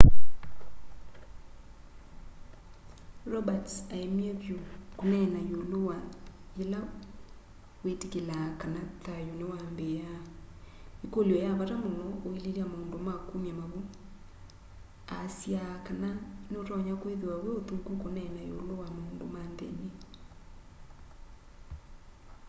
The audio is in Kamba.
roberts aemie vyu kuneena iulu wa yila witikilaa kana thayu niwambiia ikulyo ya vata muno uililya maundu ma kumya mavu aasya kana ni utonya kwithiwa wi uthuku kuneena iulu wa maundu ma nthini